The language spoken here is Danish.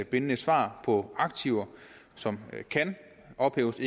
bindende svar på spørgsmål aktiver som kan ophæves